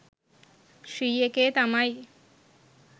ශ්‍රී එකේ තමයි.